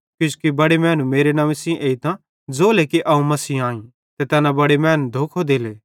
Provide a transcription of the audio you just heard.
किजोकि बड़े मैनू मेरे नंव्वे सेइं एइतां ज़ोले कि अवं मसीह अईं ते तैना बड़े मैनू धोखो देले